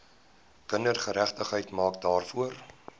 kindergeregtigheid maak daarvoor